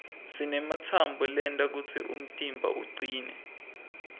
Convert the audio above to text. sinematsambo lenta kutsi umtimba ucine